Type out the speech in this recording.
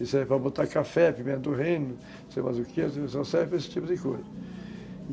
E serve para botar café, pimenta do reino, sei mais o que, só serve para esse tipo de coisa.